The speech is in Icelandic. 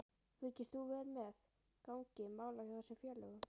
Fylgist þú vel með gangi mála hjá þessum félögum?